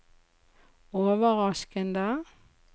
overraskende